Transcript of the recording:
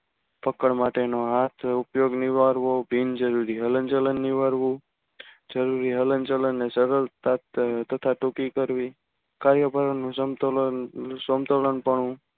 પકડ માટે નો હાથ ઉપયોગ નિવારવો બિન જૂરી હલનચલન નિવારવું. બિનજરૂરી જરૂરી હલનચલનની સરળતાથી તથા ટુકી કરવી. કાર્યકરો નું સમતોલન સમતોલનપણું